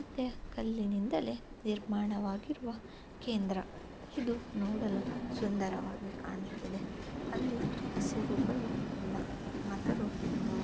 ಅದೆ ಕಲ್ಲಿನಿಂದಲೇ ನಿರ್ಮಾಣವಾಗಿರುವ ಕೇಂದ್ರ. ಇದು ನೋಡಲು ಸುಂದರವಾಗಿ ಕಾಣುತ್ತಿದೆ. ಅಲ್ಲಿ ಹಸಿರುಗಳು ಇಲ್ಲ ಆದರೂ ಸುಂದರ--